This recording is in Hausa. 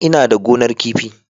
Ina da gonar kifi.